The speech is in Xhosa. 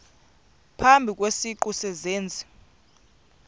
phambi kwesiqu sezenzi